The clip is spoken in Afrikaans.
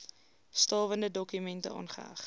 stawende dokumente aangeheg